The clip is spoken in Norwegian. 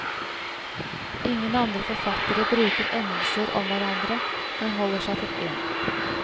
Ingen andre forfattere bruker endelser om hverandre, men holder seg til én.